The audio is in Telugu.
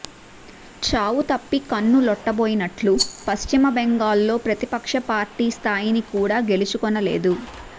చావుతప్పి కన్ను లోట్టుపోయినట్లు పశ్చిమ బెంగాల్లో ప్రతిపక్ష పార్టీ స్థాయిని కూడా గెలుచుకొనలేదు